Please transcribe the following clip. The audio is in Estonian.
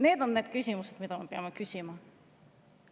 Need on need küsimused, mida me peame küsima.